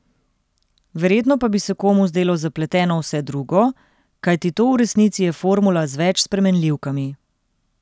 Verjetno pa bi se komu zdelo zapleteno vse drugo, kajti to v resnici je formula z več spremenljivkami.